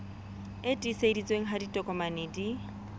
e tiiseditsweng ha ditokomane di